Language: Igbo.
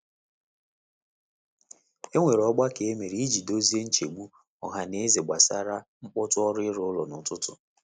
E nwere ogbako e mere iji dozie nchegbu ọha na eze gbasara mkpọtụ ọrụ ịrụ ụlọ n’ụtụtụ.